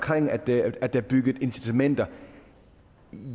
at der er indbygget incitamenter